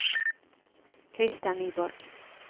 Christer Nyborg